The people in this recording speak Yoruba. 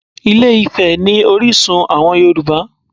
Ilé-Ifẹ̀ ni orísun àwọn Yorùbá